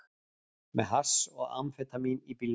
Með hass og amfetamín í bílnum